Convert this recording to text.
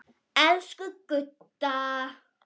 Elsku Gudda.